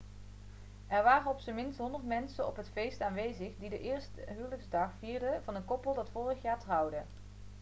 er waren op zijn minst 100 mensen op het feest aanwezig die de eerste huwelijksdag vierden van een koppel dat vorig jaar trouwde